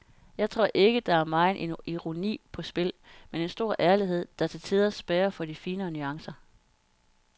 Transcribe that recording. Jeg tror ikke der er megen ironi på spil, men en stor ærlighed, der til tider spærrer for de finere nuancer.